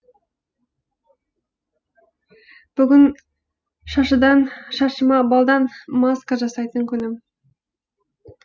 бүгін шашыма балдан маска жасайтын күнім